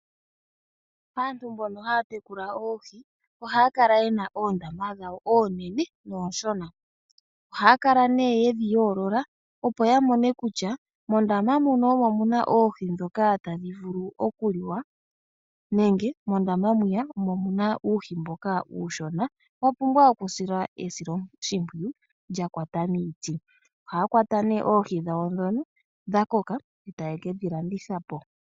Aantu mbono haya tekula oohi ohaya kala yena oondama dhawo oonene nooshona. Ohaa kala nee yedhi yoolola opo ya mone kutya mondama muno omo muna oohi dhoka tadhi vulu oku liwa nenge mondama mwiya omo muna uuhi mbwiya uushona wa pumbwa oku silwa esiloshimpwiyu lya kwata miiti. Oha kwata nee oohi dhawo dhakoka taye kedhi landitha po.